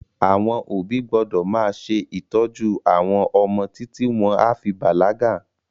Àwọn òbí gbọ́dọ̀ máa ṣe ìtọ́jú àwọn ọmọ títí wọn a fi bàlágà